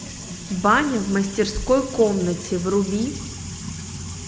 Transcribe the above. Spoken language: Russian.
баня в мастерской комнате вруби